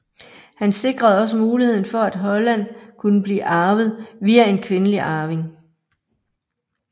Han sikrede også muligheden for at Holland kunne blive arvet via en kvindelig arving